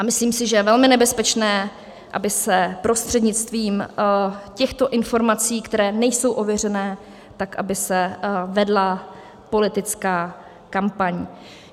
A myslím si, že je velmi nebezpečné, aby se prostřednictvím těchto informací, které nejsou ověřené, tak aby se vedla politická kampaň.